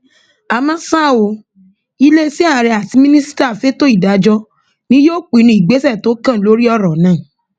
àmọ ṣá o iléeṣẹ ààrẹ àti mínísítà fẹtọ ìdájọ ni yóò pinnu ìgbésẹ tó kàn lórí ọrọ náà